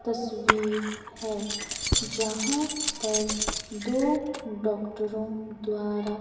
तस्वीर है जहां पर दो डॉक्टरों द्वारा--